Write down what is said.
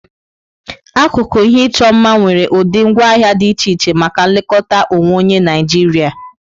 Akụkụ ihe ịchọ mma nwere ụdị ngwaahịa dị iche iche maka nlekọta onwe onye Naijiria.